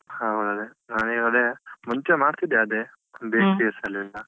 ಹೌದು ಅದೆ. ನನೀಗದೆ ಮುಂಚೆ ಮಾಡ್ತಿದ್ದೆ ಅದೆ bakeries ಅಲ್ಲೆಲ್ಲಾ .